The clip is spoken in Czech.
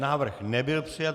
Návrh nebyl přijat.